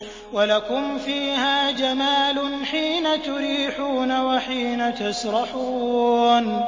وَلَكُمْ فِيهَا جَمَالٌ حِينَ تُرِيحُونَ وَحِينَ تَسْرَحُونَ